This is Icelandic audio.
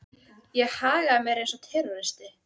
Ég hagaði mér eins og terroristi.